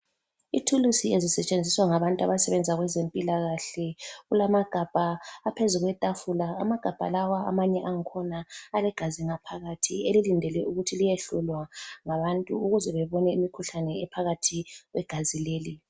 Ithulusi ezisetshenziswa ngabantu abasebenza kwezempilakahle. Kulamagabha aphezu kwetafula. Amagabha lawa amanye akhona alegazi ngaphakathi elilindele ukuthi liyehlolwa ngabantu ukuze bebone imkhuhlane ephakathi kwegazi leli.